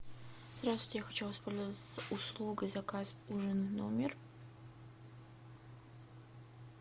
здравствуйте я хочу воспользоваться услугой заказ ужин в номер